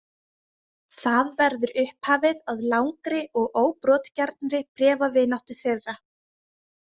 Það verður upphafið að langri og óbrotgjarnri bréfavináttu þeirra.